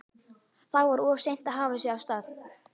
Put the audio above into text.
Þá var of seint að hafa sig af stað.